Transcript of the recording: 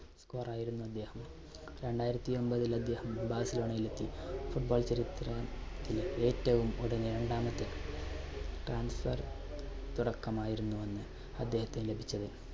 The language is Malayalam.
score യിരുന്നു അദ്ദേഹം. രണ്ടായിരത്തി ഒൻപതിൽ അദ്ദേഹം ബാഴ്സലോണയിൽ എത്തി, football ചരിത്ര~ത്തിൽ ഏറ്റവും ഉടനെ രണ്ടാമത്തെ transffer തുടക്കമായിരുന്നു അന്ന് അദ്ദേഹത്തിന് ലഭിച്ചത്.